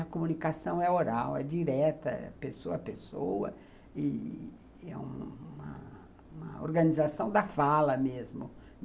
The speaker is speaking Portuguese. A comunicação é oral, é direta, é pessoa a pessoa e é uma uma organização da fala mesmo.